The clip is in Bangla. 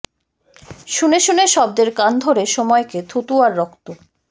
শুনে শুনে শব্দের কান ধরে সময়কে থুতু আর রক্ত